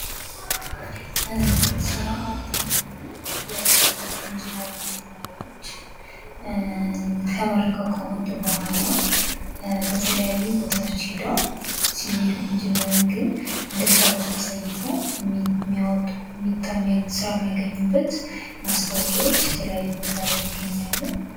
ስራ አጥ የሆኑ የሲቪል እንጂነሪንግ ተማሪዎች ተመርቀዉ ከወጡ በኋላ በተለያዩ ቦታዎች ሂደዉ ሲቪል ኢንጅነሪንግን እንደጨረሱ አሳይተዉ ስራ የሚያገኙበት ማስታወቂያዎች የተለያዩ ቦታ ላይ ይገኛሉ።